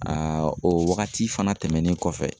Aa o wagati fana tɛmɛnen kɔfɛ.